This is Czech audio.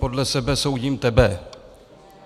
Podle sebe soudím tebe.